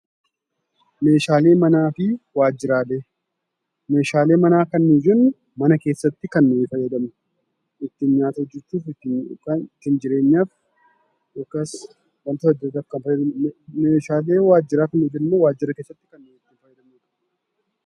Meeshaalee manaa kan jennu mana keessaatti kan nuyi fayyadamnudha. Ittiin nyaata hojjechuuf yookaan ittiin jireenyaaf yookaas wantoota adda addaaf kan nufayyadamnudha. Meeshaaleen waajjiraa kunis ammoo waajjira keessatti kan itti fayyadamnudha.